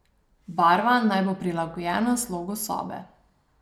Barva naj bo prilagojena slogu sobe.